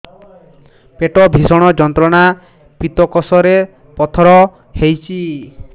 ପେଟ ଭୀଷଣ ଯନ୍ତ୍ରଣା ପିତକୋଷ ରେ ପଥର ହେଇଚି